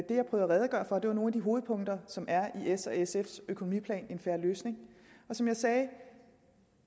at redegøre for var nogle af de hovedpunkter som er i s og sfs økonomiplan en fair løsning som jeg sagde